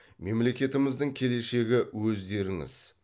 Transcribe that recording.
мемлекетіміздің келешегі өздеріңіз